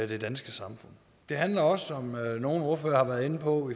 det danske samfund det handler også om nogle ordførere har været inde på